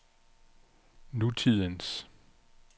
nutidens